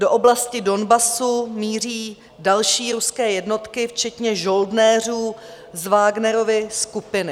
Do oblasti Donbasu míří další ruské jednotky včetně žoldnéřů z Vagnerovy skupiny.